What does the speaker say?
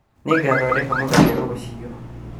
Nĩngathondeka mũgate rũciũ